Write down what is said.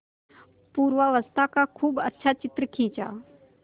पूर्वावस्था का खूब अच्छा चित्र खींचा